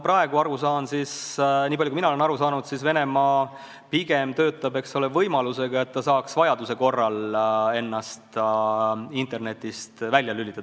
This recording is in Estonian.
Nii palju, kui mina olen aru saanud, Venemaa pigem töötab võimaluse kallal, et ta saaks vajaduse korral ennast internetist välja lülitada.